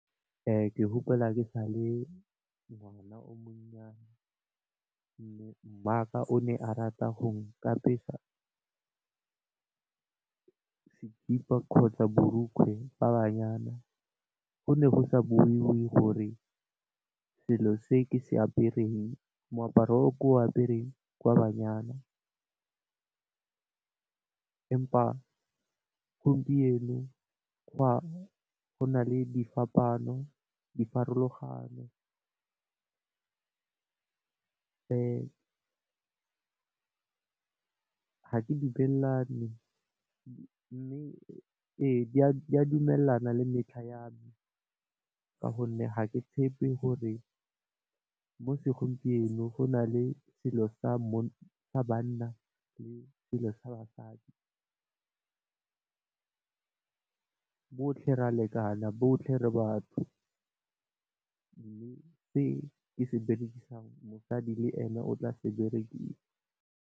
Ke gopola ke sa le ngwana o monnyane mme maaka o ne a rata go nkapesa sekipa kgotsa borokgwe ba banyana, go ne go sa boniwe gore selo se ke se apereng, moaparo o ke o apereng ke wa banyana empa gompieno go na le diphapaano, dipharologano. Ga ke dumelane mme ee di dumelana le metlha yame, ka gonne ga ke tshepe gore mo segompienong go na le selo sa banna le basadi. Rotlhe re a lekana rotlhe re batho mme se ke se berekisang mosadi le ene o tla se berekisa.